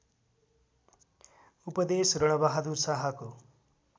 उपदेश रणबहादुर शाहको